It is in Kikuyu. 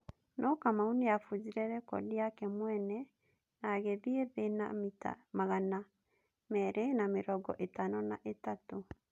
No Kamau nĩ abujire rekodi yake mwene na agĩthie thĩ na mita magana merĩ na mĩrongo ĩtano na ĩtatũ.